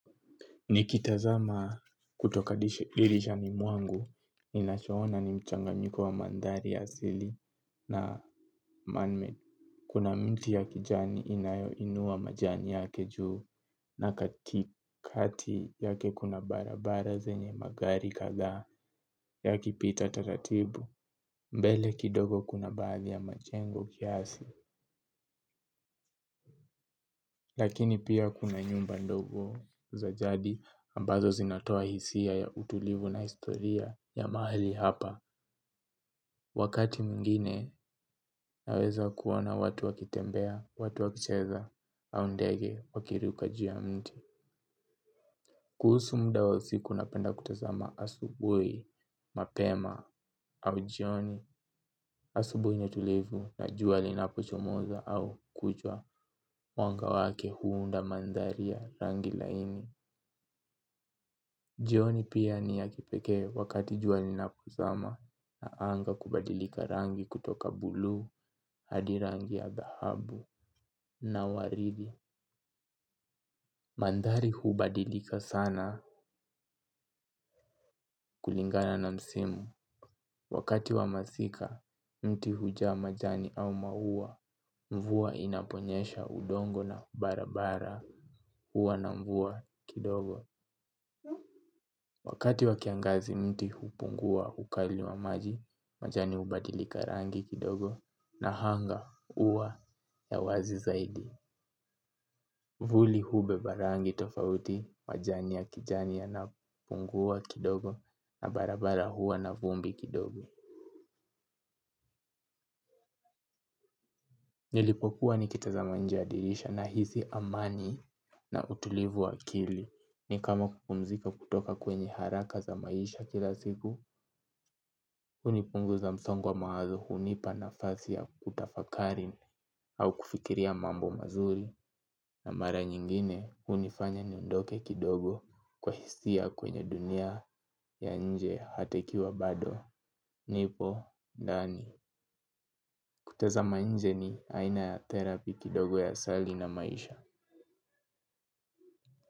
Nikitazama kutoka dirisha dirishani mwangu, ninachoona ni mchanganyiko wa mandhari ya asili na manmade. Kuna miti ya kijani inayo inuwa majani yake juu na katikati yake kuna barabara zenye magari kadhaa ya kipita taratibu, mbele kidogo kuna baadhi ya majengo kiasi. Lakini pia kuna nyumba ndogo za jadi ambazo zinatoa hisia ya utulivu na historia ya mahali hapa. Wakati mwingine naweza kuona watu wakitembea, watu wakicheza au ndege wakiruka juu ya mti. Kuhusu muda wa siku napenda kutazama asubui, mapema au jioni asubui ni tulivu na jua linapochomoza au kuchwa mwanga wake huunda mandhari ya rangi laini. Jioni pia ni ya kipekee wakati jua linapozama na anga kubadilika rangi kutoka buluu, hadi rangi ya dhahabu na waridi. Mandhari hubadilika sana kulingana na msimu. Wakati wa masika, mti hujaa majani au maua, mvua inaponyesha udongo na barabara, huwa na mvua kidogo. Wakati wa kiangazi miti hupungua ukali wa maji, majani hubadilika rangi kidogo na anga huwa ya wazi zaidi. Vuli hubeba rangi tofauti majani ya kijani yanapungua kidogo na barabara huwa na vumbi kidogo. Nilipokuwa nikitazama nje ya dirisha nahisi amani na utulivu wa akili. Ni kama kupumzika kutoka kwenye haraka za maisha kila siku. Hunipunguza msongo wa mawazo hunipa nafasi ya kutafakari au kufikiria mambo mazuri. Na mara nyingine hunifanya niondoke kidogo. Kwa hisia kwenye dunia ya nje hata ikiwa bado nipo, ndani. Kutazama inje ni aina ya therapy kidogo ya sali na maisha.